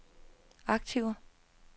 aktiver